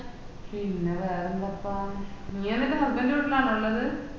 പിന്നെ വേറെന്താപ്പാ നീ എന്നിട്ട് husband ൻറെ വീട്ടിലാണൊ ഇള്ളത്